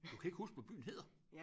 Du kan ikke huske hvad byen hedder!